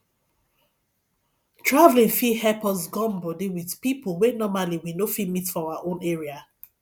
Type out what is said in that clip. traveling fit help us gum body with people wey normally we no fit meet for our own area